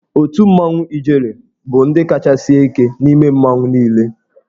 Otù mmanwụ Ijele bụ ndị kacha sie ike n'ime mmanwụ niile.